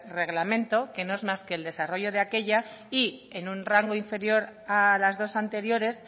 reglamento que no es más que el desarrollo de aquella y en un rango inferior a las dos anteriores